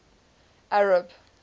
arab